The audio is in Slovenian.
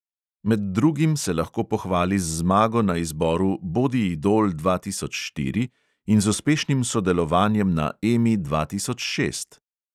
Med drugim se lahko pohvali z zmago na izboru bodi idol dva tisoč štiri in z uspešnim sodelovanjem na emi dva tisoč šest.